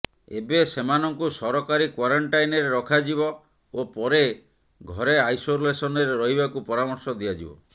ଏବେ ସେମାନଙ୍କୁ ସରକାରୀ କ୍ୱାରେଣ୍ଟାଇନରେ ରଖାଯିବ ଓ ପରେ ଘରେ ଆଇସୋଲେସନରେ ରହିବାକୁ ପରାମର୍ଶ ଦିଆଯିବ